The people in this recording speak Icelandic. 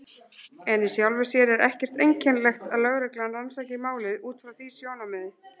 En í sjálfu sér er ekkert einkennilegt að lögreglan rannsaki málið út frá því sjónarmiði.